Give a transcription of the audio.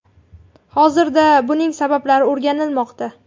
Hozirda buning sabablari o‘rganilmoqda.